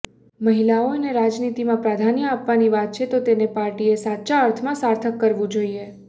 મહિલાઓને રાજનીતિમાં પ્રાધાન્ય આપવાની વાત છે તો તેને પાર્ટીએ સાચા અર્થમાં સાર્થક કરવું જોઈએ